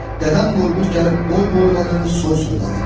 Dədəm Qorqud gəlib boy boyladı, soy soyladı.